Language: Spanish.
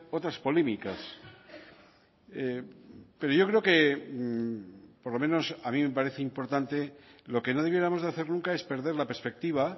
otras polémicas pero yo creo que por lo menos a mí me parece importante lo que no debiéramos de hacer nunca es perder la perspectiva